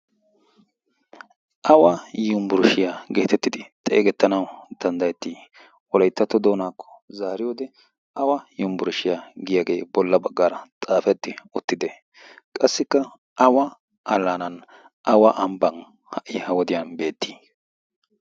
awa yumbburshshiyaa geetettidi xeegettanawu danddayettii wolayttatto doonaakko zaari wode awa yumbburshshiyaa giyaagee bolla baggaara xaafetti ottide qassikka awa alaanan awa ambban ha''i ha wodiyan beettii